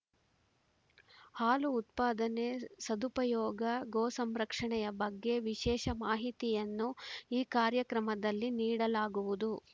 ಹಾಲು ಉತ್ಪಾದನೆ ಸದುಪಯೋಗ ಗೋಸಂರಕ್ಷಣೆಯ ಬಗ್ಗೆ ವಿಶೇಷ ಮಾಹಿತಿಯನ್ನು ಈ ಕಾರ್ಯಕ್ರಮದಲ್ಲಿ ನೀಡಲಾಗುವುದು